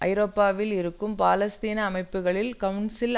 ஐரோப்பாவில் இருக்கும் பாலஸ்தீன அமைப்புகளின் கவுன்சில்